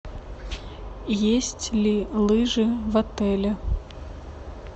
есть ли лыжи в отеле